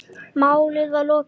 Málinu var lokið.